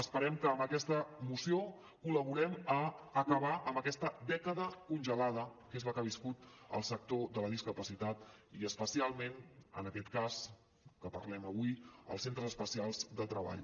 esperem que amb aquesta moció col·laborem a acabar amb aquesta dècada congelada que és la que ha viscut el sector de la discapacitat i especialment en aquest cas que parlem avui els centres especials de treball